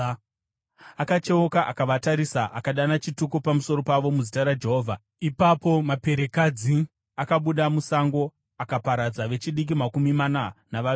Akacheuka, akavatarisa, akadana chituko pamusoro pavo muzita raJehovha. Ipapo maperekadzi akabuda musango akaparadza vechidiki makumi mana navaviri.